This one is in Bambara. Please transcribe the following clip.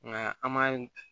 Nka an m'a